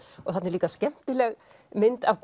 og þarna er líka skemmtileg mynd af